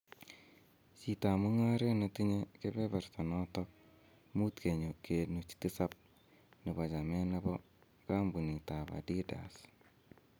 chitab mung'aret noton ne tinye kebeberta noton 5.7 nebo chamet nebo kampunitab Adidas